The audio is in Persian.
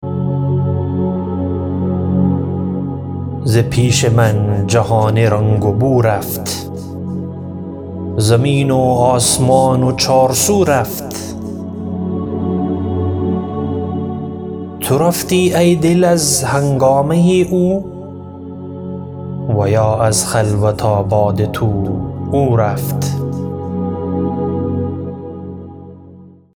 ز پیش من جهان رنگ و بو رفت زمین و آسمان و چار سو رفت تو رفتی ای دل از هنگامه او و یا از خلوت آباد تو او رفت